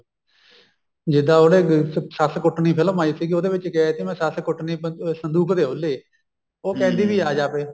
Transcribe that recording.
ਜਿੱਦਾਂ ਉਹਨੇ ਸੱਸ ਕੁੱਟਨੀ ਫਿਲਮ ਆਈ ਸੀਗੀ ਉਹਦੇ ਵਿੱਚ ਕਿਹਾ ਕੀ ਮੈਂ ਸੱਸ ਕੁੱਟਨੀ ਸੰਦੂਕ ਦੇ ਔਲੇ ਉਹ ਕਹਿੰਦੀ ਵੀ ਆਜਾ ਫ਼ੇਰ